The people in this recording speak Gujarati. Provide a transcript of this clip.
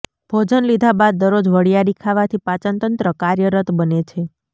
ભોજન લીધા બાદ દરરોજ વરીયાળી ખાવાથી પાચનતંત્ર કાર્યરત બને છે